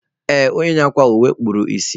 Ee, onye na akwa uwe kpuru ìsì